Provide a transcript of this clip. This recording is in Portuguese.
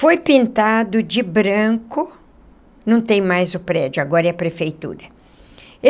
Foi pintado de branco... não tem mais o prédio... agora é a prefeitura.